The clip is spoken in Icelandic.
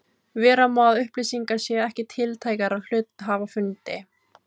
Vera má að upplýsingar séu ekki tiltækar á hluthafafundi.